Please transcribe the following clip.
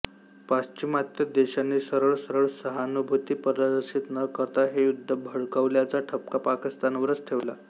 पाश्चिमात्य देशांनी सरळसरळ सहानूभूती प्रदर्शित न करता हे युद्ध भडकवल्याचा ठपका पाकिस्तानवरच ठेवला